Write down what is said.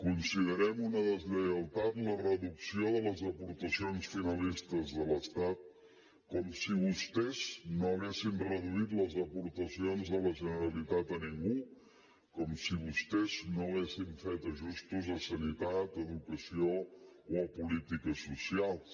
considerem una deslleialtat la reducció de les aportacions finalistes de l’estat com si vostès no haguessin reduït les aportacions de la generalitat a ningú com si vostès no haguessin fet ajustos a sanitat a educació o a polítiques socials